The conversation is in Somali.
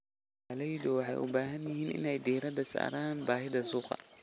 Beeraleydu waxay u baahan yihiin inay diiradda saaraan baahida suuqa.